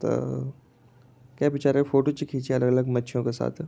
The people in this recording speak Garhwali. त के बिचरा फोटो चि खींची अलग-अलग मछियों के साथ।